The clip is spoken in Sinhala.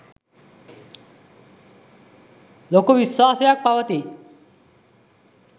ලොකු විශ්වාසයක් පවතී.